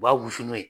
U b'a wusu n'o ye